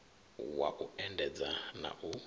wa u endedza na u